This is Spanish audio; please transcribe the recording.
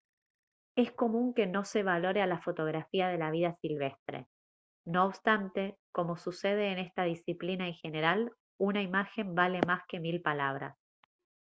es común que no se valore a la fotografía de la vida silvestre no obstante como sucede en esta disciplina en general una imagen vale más que mil palabras